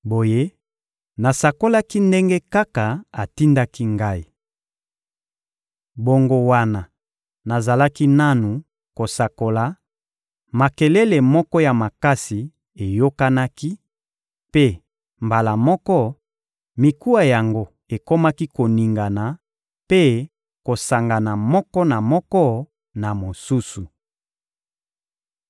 Boye, nasakolaki ndenge kaka atindaki ngai. Bongo wana nazalaki nanu kosakola, makelele moko ya makasi eyokanaki; mpe, mbala moko, mikuwa yango ekomaki koningana mpe kosangana moko na moko na mosusu.